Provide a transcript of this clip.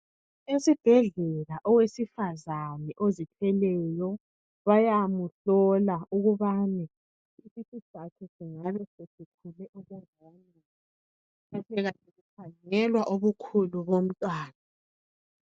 Esibhedlela owesifazana ozithweleyo bayamuhlola ukubana isisu sakhe singabe sesikhule okunganani, bayabe bekhangela ubukhulu bomntwana.